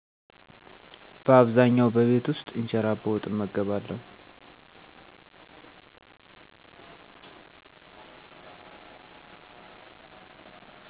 እንጀራ በወጥ በአብዛኛዉ በቤት ዉስጥ እመገባለዉ